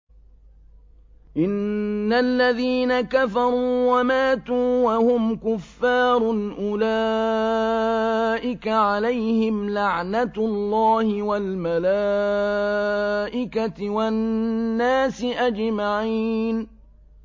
إِنَّ الَّذِينَ كَفَرُوا وَمَاتُوا وَهُمْ كُفَّارٌ أُولَٰئِكَ عَلَيْهِمْ لَعْنَةُ اللَّهِ وَالْمَلَائِكَةِ وَالنَّاسِ أَجْمَعِينَ